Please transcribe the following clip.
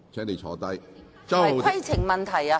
為何這不是規程問題？